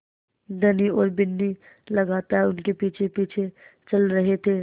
धनी और बिन्नी लगातार उनके पीछेपीछे चल रहे थे